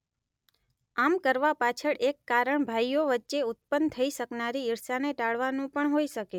આમ કરવા પાછળ એક કારણ ભાઈઓ વચ્ચે ઉત્ત્પન થઈ શકનારી ઈર્ષ્યાને ટાળવાનું પણ હોઈ શકે